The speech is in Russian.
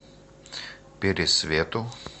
пересвету